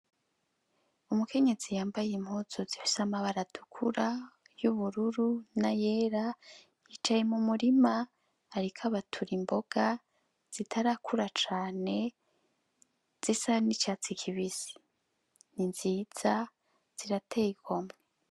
Umukenyezi yambaye impuzu zifise amabara atukura y'ubururu n'ayera yicaye mu murima ariko abatura imboga zitarakura cane zisa n'icatsi kibisi n'inziza zirateye igomwe.